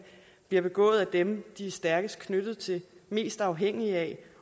bliver begået af dem de er stærkest knyttet til mest afhængige af